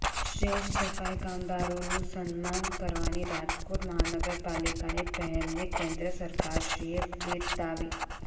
શ્રેષ્ઠ સફાઈ કામદારોનું સન્માન કરવાની રાજકોટ મહાનગરપાલિકાની પહેલને કેન્દ્ર સરકારશ્રીએ બિરદાવી